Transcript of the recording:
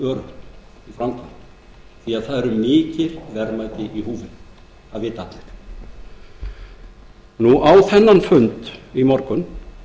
framkvæmd því að mikil verðmæti eru í húfi það vita allir á þennan fund í morgun